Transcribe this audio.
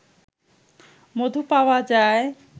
মধু পাওয়া যায়